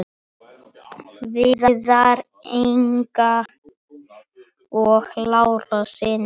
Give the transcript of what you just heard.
Viðar, Inga Lára og synir.